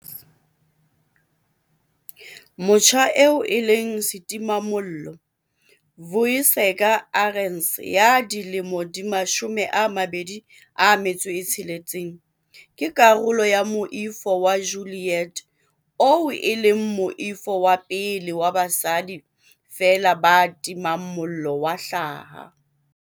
Motjha eo e leng setimamollo, Vuyiseka Arendse ya dilemo di 26, ke karolo ya Moifo wa Ju-liet oo e leng moifo wa pele wa basadi feela ba timang mollo wa hlaha.